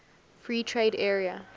free trade area